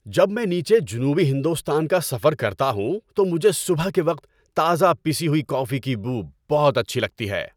جب میں نیچے جنوبی ہندوستان کا سفر کرتا ہوں تو مجھے صبح کے وقت تازہ پیسی ہوئی کافی کی بو بہت اچھی لگتی ہے۔